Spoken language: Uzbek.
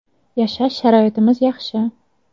Yashash sharoitimiz yaxshi.